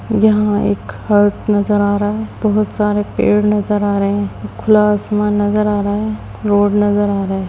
यहाँ एक हट नजर आ रहा है। बहुत सारे पेड़ नजर आ रहे हैं। खुला आसमान नजर आ रहा है। रोड नजर आ रहे है।